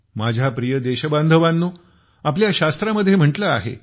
माझ्या प्रिय देश बांधवानो आपल्या शास्त्रामध्ये म्हटल आहे